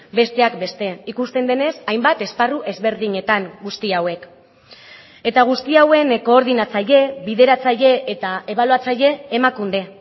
besteak beste ikusten denez hainbat esparru ezberdinetan guzti hauek eta guzti hauen koordinatzaile bideratzaile eta ebaluatzaile emakunde